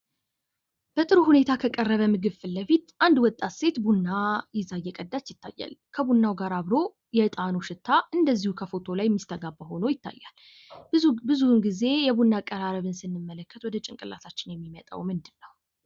በጥሩ ሁኔታ ከቀረበ ምግብ ፊት ለፊት አንዲት ወጣት ሴት ቡና ይዛ እየቀዳች ይታያል። ከቡናው ጋር አብሮ የእጣኑ ሽታ እንደዚሁ ከፎቶ ላይ የሚሲተጋባ ሆኖ ይታያል። ብዙ ግዜ የቡና አቀራረብ ስንመለከት ወደ ጭንቅላታችን የሚመጣው ምንድነው?